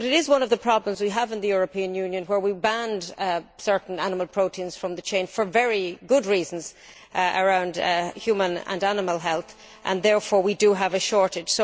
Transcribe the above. But this is one of the problems we have in the European Union, where we banned certain animal proteins from the chain, for very good reasons relating to human and animal health, and therefore we do have a shortage.